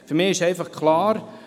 Für mich ist einfach klar: